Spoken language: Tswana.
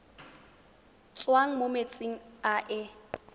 tswang mo metsing a e